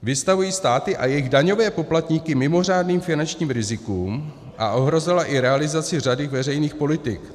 Vystavují státy a jejich daňové poplatníky mimořádným finančním rizikům a ohrozila i realizaci řady veřejných politik.